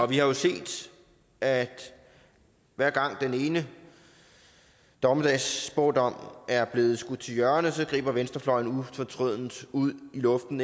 vi har jo set at hver gang den ene dommedagsspådom er blevet skudt til hjørne griber venstrefløjen ufortrødent ud i luften